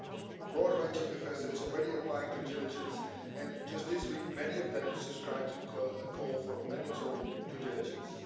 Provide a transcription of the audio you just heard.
A broad range of FSAs is already applying due diligence and, just this week, many of them subscribed to a call for mandatory due diligence.